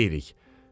Nə deyirik?